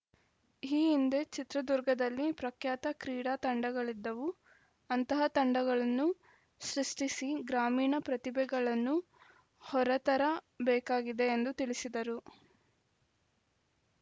ಈ ಹಿಂದೆ ಚಿತ್ರದುರ್ಗದಲ್ಲಿ ಪ್ರಖ್ಯಾತ ಕ್ರೀಡಾ ತಂಡಗಳಿದ್ದವು ಅಂತಹ ತಂಡಗಳನ್ನು ಸೃಷ್ಟಿಸಿ ಗ್ರಾಮೀಣ ಪ್ರತಿಭೆಗಳನ್ನು ಹೊರತರಬೇಕಾಗಿದೆ ಎಂದು ತಿಳಿಸಿದರು